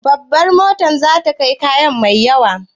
Babar motar za ta kai kaya mai yawa?